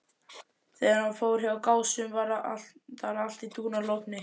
Þegar hann fór hjá Gásum var þar allt í dúnalogni.